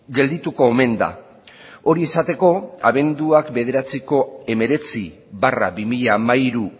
geldituko omen da hori esateko abenduaren bederatziko hemeretzi barra bi mila hamairu